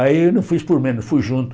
Aí eu não fiz por menos, fui junto.